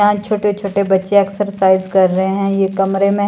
यहां छोटे छोटे बच्चे एक्सरसाइज कर रहे हैं ये कमरे में--